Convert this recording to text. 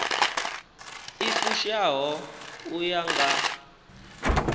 i fushaho u ya nga